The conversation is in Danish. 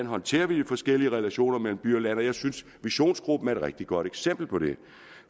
håndterer de forskellige relationer mellem by og land og jeg synes at visionsgruppen er et rigtig godt eksempel på det